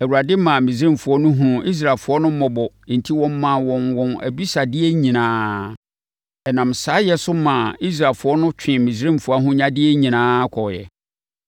Awurade maa Misraimfoɔ no hunuu Israelfoɔ no mmɔbɔ enti wɔmaa wɔn wɔn abisadeɛ nyinaa. Ɛnam saa yɛ so maa Israelfoɔ no twee Misraimfoɔ ahonyadeɛ nyinaa kɔeɛ.